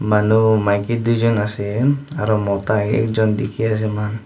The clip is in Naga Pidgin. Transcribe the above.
manu maiki duijen ase aru mota ekjun dikhi ase moikhan.